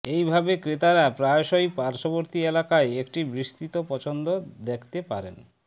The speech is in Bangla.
এই ভাবে ক্রেতারা প্রায়শই পার্শ্ববর্তী এলাকায় একটি বিস্তৃত পছন্দ দেখতে পারেন